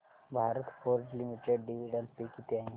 Bharat forge limited dividend pay किती आहे